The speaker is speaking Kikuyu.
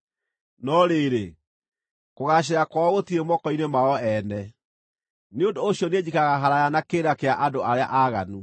No rĩrĩ, kũgaacĩra kwao gũtirĩ moko-inĩ mao ene, nĩ ũndũ ũcio niĩ njikaraga haraaya na kĩrĩra kĩa andũ arĩa aaganu.